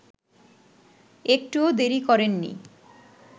একটুও দেরি করেননি